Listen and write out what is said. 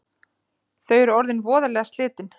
Þau eru orðin voðalega slitin